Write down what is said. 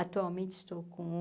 Atualmente estou com